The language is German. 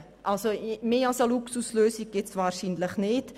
Eine luxuriösere Lösung findet man kaum.